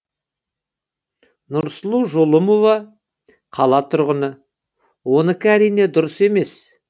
нұрсұлу жолымова қала тұрғыны оныкі әрине дұрыс емес